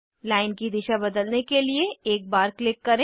line की दिशा बदलने के लिए एक बार क्लिक करें